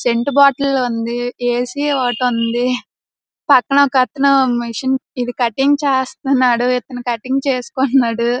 Scent bottle ఉంది. A. C. ఒటి ఉంది. పక్కన ఒక అతను మిషన్ ఇది కటింగ్ చేస్తున్నాడు ఇతను కటింగ్ చేసుకుంటున్నాడు.